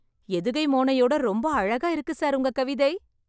எதுகை மோனையோட ரொம்ப அழகா இருக்கு சார் உங்க கவிதை...